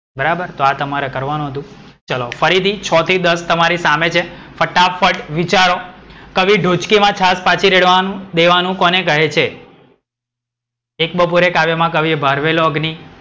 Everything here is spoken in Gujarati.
બરાબર. તો આ તમારે કરવાનું હતું. ચલો ફરીથી સીએચએચ છ થી દસ તમારી સામે છે. ફટાફટ વિચારો. કવિ ઢોચકીમાં છાસ પાછી રેડવાનું દેવાનું કોને કહે છે? એક બપોરે કાવ્યમાં કવિએ ભરવેળો અગ્નિ,